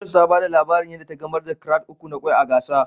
Precious ta ba da labarin yan da ta gamar da krat na Kwai uku a gasa